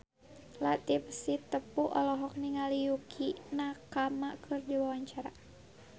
Latief Sitepu olohok ningali Yukie Nakama keur diwawancara